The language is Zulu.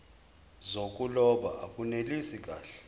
zokuloba akunelisi kahle